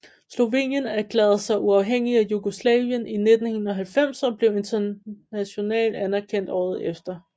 Slovenien erklærede sig uafhængige af Jugoslavien i 1991 og blev international anerkendt året efter